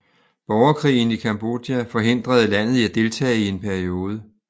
Borgerkrigen i Cambodja forhindrede landet i at deltage i en periode